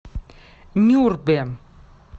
нюрбе